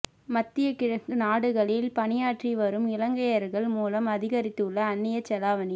மத்திய கிழக்கு நாடுகளில் பணியாற்றி வரும் இலங்கையர்கள் மூலம் அதிகரித்துள்ள அந்நியச் செலாவணி